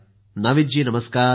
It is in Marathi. मोदी जीः नाविद जी नमस्कार